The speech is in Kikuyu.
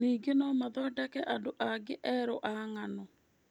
Ningĩ no mathondeke andũ angĩ erũ a ng'ano.